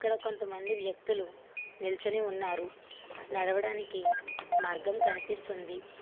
ఈడ కొంతమంది వ్యక్తులు నిల్చొని ఉన్నారు నడవడానికి మార్గం కనిపిస్తుంది.